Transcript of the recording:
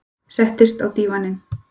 Settist á dívaninn.